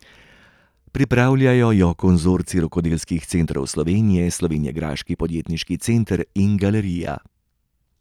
Pripravljajo jo Konzorcij rokodelskih centrov Slovenije, slovenjgraški podjetniški center in galerija.